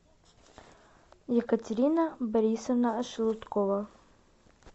екатерина борисовна шелудкова